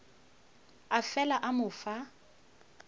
a fela a mo fa